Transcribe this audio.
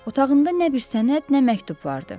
Otağında nə bir sənəd, nə məktub vardı.